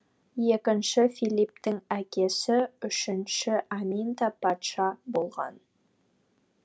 екінші филипптің әкесі үшінші аминта патша болған